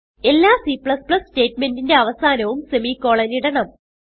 എല്ലാ C സ്റ്റേറ്റ് മെന്റിന്റെ അവസാനവും സെമിക്കോളൻ ഇടണം